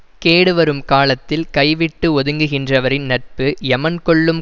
கேடு வரும் காலத்தில் கைவிட்டு ஒதுங்குகின்றவரின் நட்பு எமன் கொல்லும்